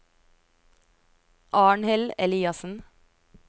Arnhild Eliassen